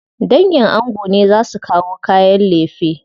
Dangin ango ne za su kawo kayan lefe.